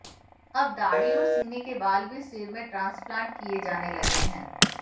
अब दाढ़ी और सीने के बाल भी सिर में ट्रांसप्लांट किए जाने लगे हैं